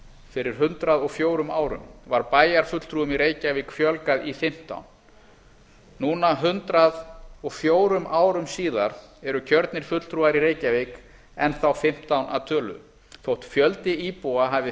fyrir hundrað og fjórum árum var bæjarfulltrúum í reykjavík fjölgað í fimmtán núna hundrað og fjórum árum síðar eru kjörnir fulltrúar í reykjavík enn þá fimmtán að tölu þótt fjöldi íbúa hafi